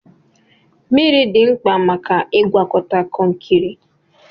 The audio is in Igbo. Mmiri dị mkpa maka ịgwakọta kọnkịrị.